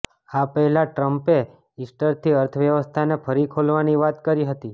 આ પહેલા ટ્રમ્પે ઈસ્ટરથી અર્થવ્યવસ્થાને ફરી ખોલવાની વાત કરી હતી